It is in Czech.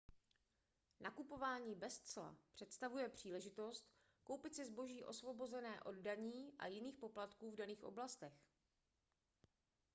nakupování bez cla představuje příležitost koupit si zboží osvobozené od daní a jiných poplatků v daných oblastech